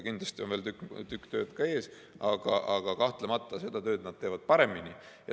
Kindlasti on veel tükk tööd ees, aga kahtlemata seda tööd nad teevad paremini.